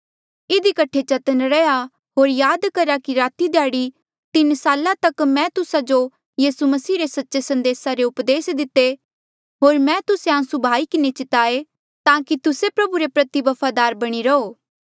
इधी कठे चतन्न रैहया होर याद करा कि राती ध्याड़ी तीन साल तक मैं तुस्सा जो यीसू मसीह रे सच्चे संदेसा रे उपदेस दिते होर मैं तुस्से आंसू बहाई किन्हें चिताये ताकि तुस्से प्रभु रे प्रति वफादार बणी रहो